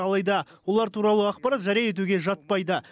алайда олар туралы ақпарат жария етуге жатпайды